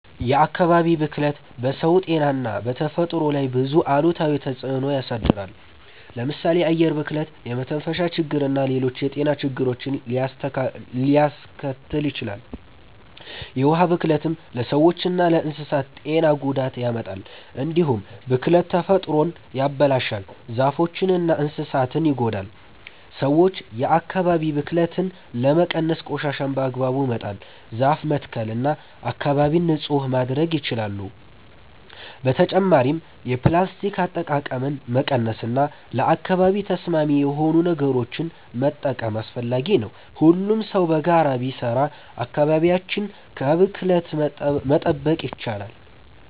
የአካባቢ ብክለት በሰው ጤና እና በተፈጥሮ ላይ ብዙ አሉታዊ ተጽዕኖ ያሳድራል። ለምሳሌ የአየር ብክለት የመተንፈሻ ችግርና ሌሎች የጤና ችግሮችን ሊያስከትል ይችላል። የውሃ ብክለትም ለሰዎችና ለእንስሳት ጤና ጉዳት ያመጣል። እንዲሁም ብክለት ተፈጥሮን ያበላሻል፣ ዛፎችንና እንስሳትን ይጎዳል። ሰዎች የአካባቢ ብክለትን ለመቀነስ ቆሻሻን በአግባቡ መጣል፣ ዛፍ መትከል እና አካባቢን ንጹህ ማድረግ ይችላሉ። በተጨማሪም የፕላስቲክ አጠቃቀምን መቀነስ እና ለአካባቢ ተስማሚ የሆኑ ነገሮችን መጠቀም አስፈላጊ ነው። ሁሉም ሰው በጋራ ቢሰራ አካባቢያችንን ከብክለት መጠበቅ ይቻላል።